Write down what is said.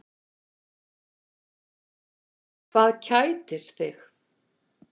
Hvað kætir þig?